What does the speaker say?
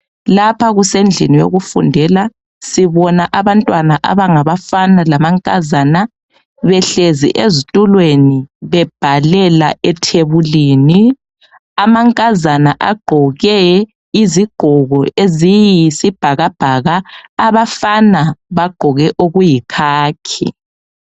Lapha kusendlini yokufundela, sibona abantwana abangabafana lamankazana behlezi ezitulweni bebhalela ethebulini. Amankazana agqoke izigqoko eziyisibhakabhaka, abafana bagqoke okuyikhakhi.